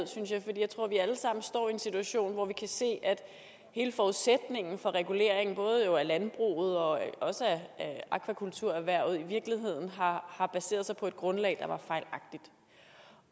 jeg tror vi alle sammen står i en situation hvor vi kan se at hele forudsætningen for regulering både af landbrug og af akvakulturerhvervet i virkeligheden har har baseret sig på et grundlag